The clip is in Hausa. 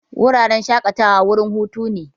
Wuraren shakatawa wurin hutu ne.